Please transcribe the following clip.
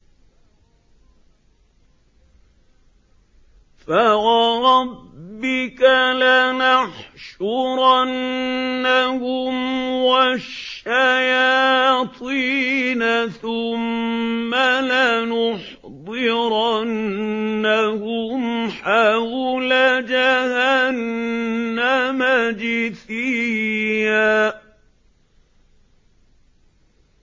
فَوَرَبِّكَ لَنَحْشُرَنَّهُمْ وَالشَّيَاطِينَ ثُمَّ لَنُحْضِرَنَّهُمْ حَوْلَ جَهَنَّمَ جِثِيًّا